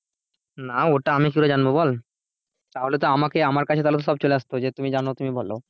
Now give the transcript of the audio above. না ওটা আমি কি করে জানবো বল তাহলে আমাকে আমার কাছে তো সব চলে আসতো যে তুমি যেন তুমি বলো,